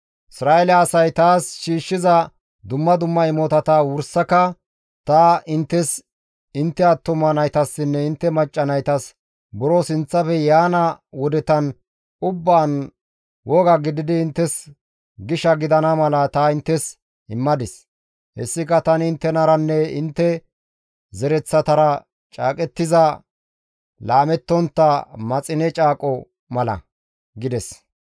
Isra7eele asay taas shiishshiza dumma dumma imotata wursaka ta inttes, intte attuma naytassinne intte macca naytas buro sinththafe yaana wodetan ubbaan woga gididi inttes gisha gidana mala ta inttes immadis; hessika tani inttenaranne intte zereththatara caaqettiza laamettontta maxine caaqo mala» gides.